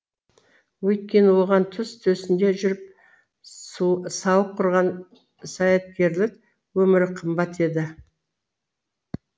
өйткені оған түз төсінде жүріп сауық құрған саяткерлік өмірі қымбат еді